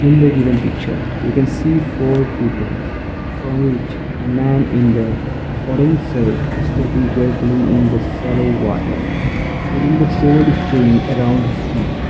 in the given picture we can see four peoples from which a man in the orange shirt carefully in the shallow water feeling the cold stream around his feet.